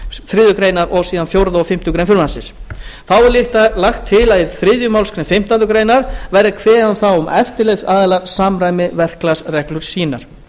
þriðju greinar og fjórða og fimmtu grein frumvarpsins þá er lagt til að í þriðju málsgrein fimmtándu grein verði kveðið um það að eftirlitsaðilar samræmi verklagsreglur sínar